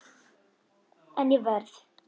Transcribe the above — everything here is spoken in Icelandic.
En ég verð.